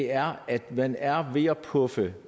er at man er ved at puffe